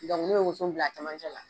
Dɔnku ne be woson bila a camancɛ la